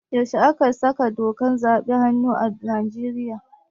Yaushe aka sawa dokar zaɓe hannu a Nigeria?